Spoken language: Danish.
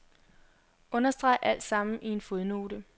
Understreg alt sammen i en fodnote.